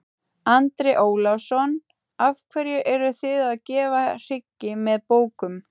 Andri Ólafsson: Af hverju eruð þið að gefa hryggi með bókum?